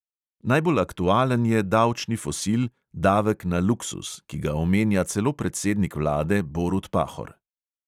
Najbolj aktualen je davčni fosil, davek na luksuz, ki ga omenja celo predsednik vlade borut pahor.